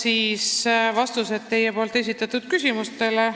Annan vastused teie esitatud küsimustele.